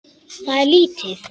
Það er lítið